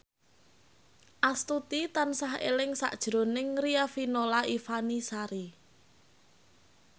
Astuti tansah eling sakjroning Riafinola Ifani Sari